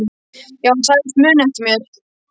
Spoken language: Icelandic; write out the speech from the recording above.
Já hann sagðist muna eftir þér.